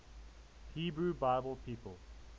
hebrew bible people